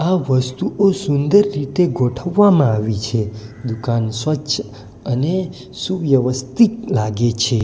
વસ્તુઓ સુંદર રીતે ગોઠવવામાં આવી છે દુકાન સ્વચ્છ અને સુવ્યવસ્થિત લાગે છે.